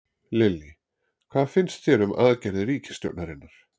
Lillý: Hvað finnst þér um aðgerðir ríkisstjórnarinnar?